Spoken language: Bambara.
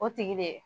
O tigi de